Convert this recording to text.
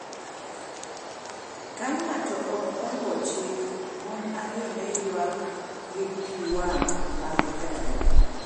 Ka ng’ato ok oluwo chik, mon ariyo ne ywak gi pi wang’ mag remo.